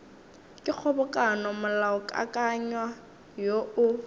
ke kgobokano molaokakanywa woo o